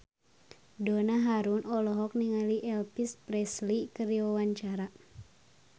Donna Harun olohok ningali Elvis Presley keur diwawancara